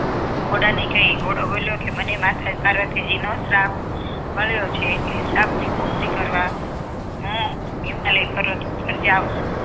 ઘોડા ને કહે ઘોડે બોલ્યો કે મને માતા પાર્વતીજી નો શ્રાપ મળ્યો છે એટલે શ્રાપની મુક્તિ કરવા હું હિમાલય ઉપર જાઉં છું